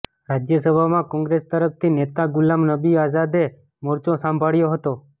રાજ્યસભામાં કોંગ્રેસ તરફથી નેતા ગુલામ નબી આઝાદે મોરચો સંભાળ્યો હતો